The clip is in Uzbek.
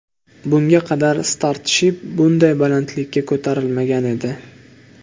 Bunga qadar Starship bunday balandlikka ko‘tarilmagan edi.